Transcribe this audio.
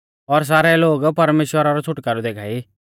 और सारै लोग परमेश्‍वरा रौ छ़ुटकारौ देखा ई